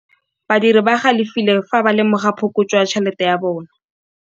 Badiri ba galefile fa ba lemoga phokotsô ya tšhelête ya bone.